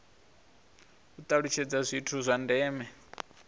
u talutshedza zwithu zwa ndeme